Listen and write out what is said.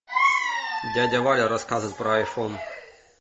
дядя валя рассказывает про айфон